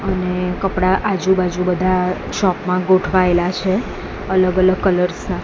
અને કપડા આજુ બાજુ બધા શોપ મા ગોઠવાઇલા છે અલગ અલગ કલર્સ ના.